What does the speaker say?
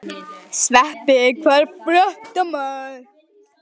Sveppi, hvað er að frétta?